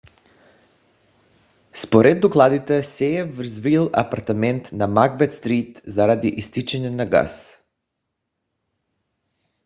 според докладите се е взривил апартамент на макбет стрийт заради изтичане на газ